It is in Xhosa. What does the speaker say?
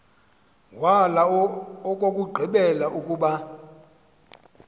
wala owokugqibela ukuba